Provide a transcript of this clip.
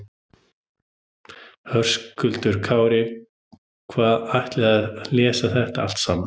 Höskuldur Kári: Hvað, ætlarðu að lesa þetta allt saman?